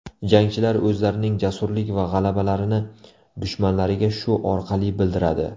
Jangchilar o‘zlarining jasurlik va g‘azablarini dushmanlariga shu orqali bildiradi.